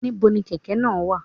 Ní bo ni kèkè náà wà?